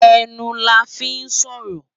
Enú làfi n sòrò